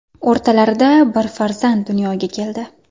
O‘rtalarida bir farzand dunyoga keldi.